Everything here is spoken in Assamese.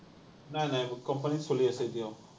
নাই, নাই। company ত চলি আছে এতিয়াও।